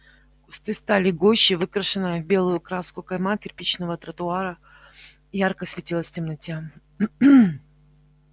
кусты стали гуще выкрашены в белую краску кайма кирпичного тротуара ярко светилась в темноте